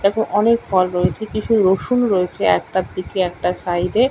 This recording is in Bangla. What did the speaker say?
এটাতে অনেক ফল রয়েছে কিছু রসুন রয়েছে একটার দিকে একটা সাইডে --